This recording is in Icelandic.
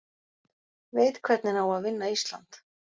Veit hvernig á að vinna Ísland